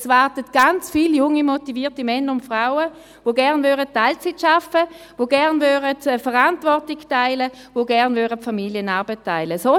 Es warten ganz viele motivierte junge Männer und Frauen, die gerne Teilzeit arbeiten möchten, die gerne die Verantwortung und die Familienarbeit teilen würden.